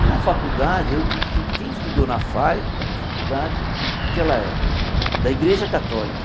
E na faculdade, quem estudou na FAE é uma faculdade que ela é da Igreja Católica,